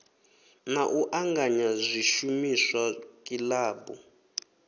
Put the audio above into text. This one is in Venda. na u anganya zwishumiswa kilabu